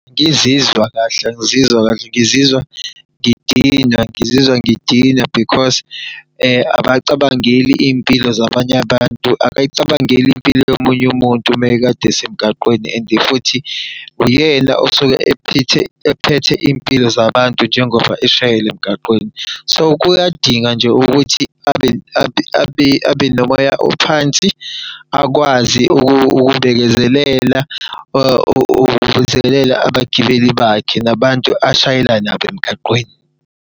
Angizizwa kahle, angizizwa kahle, ngizizwa ngidinwa. Ngizizwa ngidinwa because abacabangeli iy'mpilo zabanye abantu. Abayicabangeli impilo yomunye umuntu uma ekade esemgaqweni and futhi uyena osuke ephethe iy'mpilo zabantu njengoba eshayela emgaqweni. So, kuyadinga nje ukuthi abe nomoya ophansi, akwazi ukubekezelela abagibeli bakhe, nabantu ashayela nabo emgaqweni.